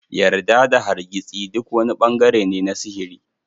Yarda da hargitsi; duk wani bangare ne na sihiri.